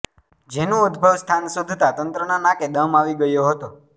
જેનું ઉદભવ સ્થાન શોધતા તંત્રના નાકે દમ આવી ગયો હતો